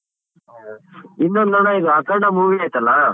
ಹ. ಇನ್ನೊಂದ್ ಅಣ್ಣ ಇದು ಅಖಂಡ movie ಐತಲ್ಲ.